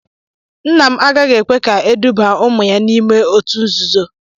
Nna m agaghị ekwe ka edubaa ụmụ ya n'ime òtù nzuzo